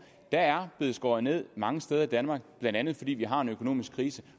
der er blevet skåret ned mange steder i danmark blandt andet fordi vi har en økonomisk krise